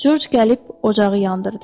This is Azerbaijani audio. Corc gəlib ocağı yandırdı.